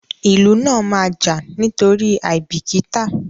ilù náa máa jà nítorí aibikita.